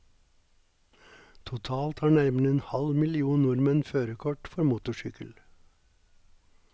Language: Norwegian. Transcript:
Totalt har nærmere en halv million nordmenn førerkort for motorsykkel.